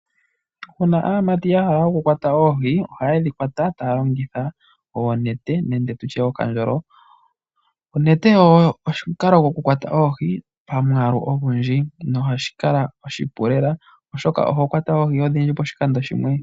Uuna aamati ya hala okukwata oohi, ohaye dhi kwata taa lonhitha oonete, nenge tu tye okandjolo. Onete oyo omukalo gokukwata oohi pamwaalu ogundji, noha shi kala oshipu lela , oshoka oho kwata oohii odhindji poshikando shimwe.